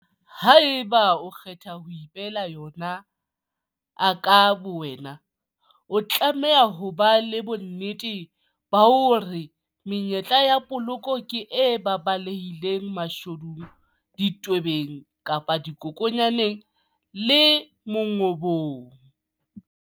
Ha eba o kgetha ho ipehela yon aka bowena, o tlamehile hob a le bonnete bah ore menyetla ya poloko ke e baballehileng mashodung, ditwebeng kapa dikokwanyaneng le mongobong.